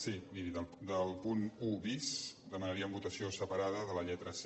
sí miri del punt un bis demanaríem votació separada de la lletra c